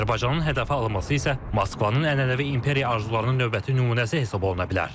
Azərbaycanın hədəfə alınması isə Moskvanın ənənəvi imperiya arzularının növbəti nümunəsi hesab oluna bilər.